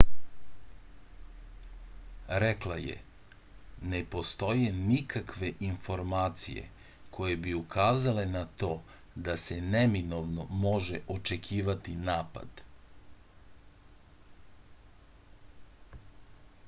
rekla je ne postoje nikakve informacije koje bi ukazale na to da se neminovno može očekivati napad